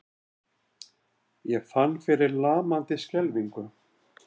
Ég fann fyrir lamandi skelfingu.